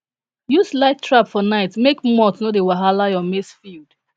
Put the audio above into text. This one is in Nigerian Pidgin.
use light trap for night make moth no dey wahala your maize field